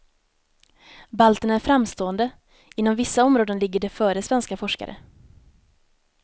Balterna är framstående, inom vissa områden ligger de före svenska forskare.